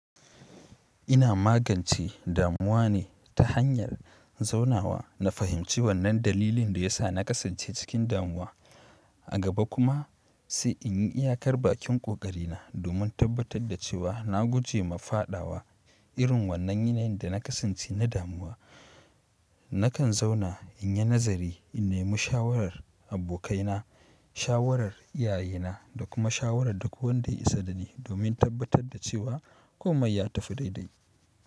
Ina magance damuwa ne ta hanyar zaunawa na fahimci wannan dalilin da ya sa na kasance cikin damuwa. A gaba kuma sai inyi iya kar bakin ƙoƙarina domin tabbatar da cewa na guje ma fadawa irin wannan yanayin dana kasance na damuwa. Nakan zauna in yi nazari, in nemi shawarar abokaina, shawarar iyayena da kuma shawarar duk wanda ya isa da ni domin tabbatar da cewa komai ya tafi daidai.